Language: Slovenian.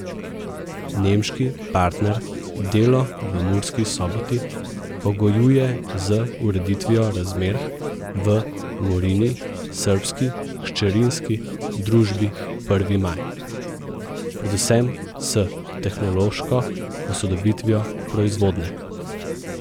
Nemški partner delo v Murski Soboti pogojuje z ureditvijo razmer v Murini srbski hčerinski družbi Prvi maj, predvsem s tehnološko posodobitvijo proizvodnje.